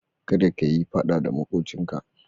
Kada ka yi faɗa da maƙocinka.